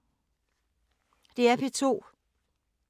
DR P2